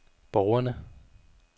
borgerne